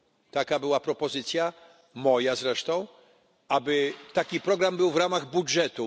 Taka była propozycja, moja zresztą, aby taki program był w ramach budżetu.